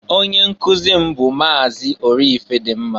Onye nkụzị m bụ Maazị Orifedịmma.